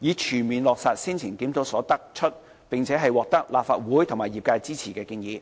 以全面落實先前檢討所得出、並獲立法會和業界支持的建議。